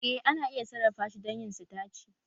Eh ana iya sarrafa shi don yin sitaci